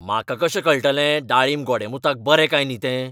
म्हाका कशें कळटलें दाळींब गोडेंमुताक बरें काय न्ही तें ?